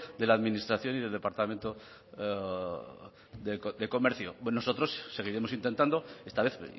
de la administración y del departamento de comercio nosotros seguiremos intentando esta vez